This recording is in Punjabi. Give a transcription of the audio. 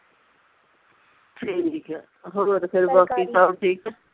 ਠੀਕ ਆ ਹੋਰ ਫਿਰ ਬਾਕੀ ਸਭ ਠੀਕ